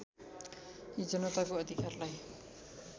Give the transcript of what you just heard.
यी जनताको अधिकारलाई